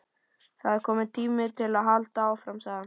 Það er kominn tími til að halda áfram sagði hann.